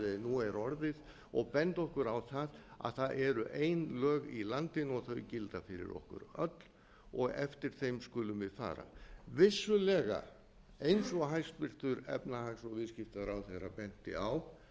nú er orðið og benda okkur á það að það eru ein lög í landinu og þau gilda fyrir okkur öll og eftir þeim skulum við fara vissulega eins og hæstvirtur efnahags og viðskiptaráðherra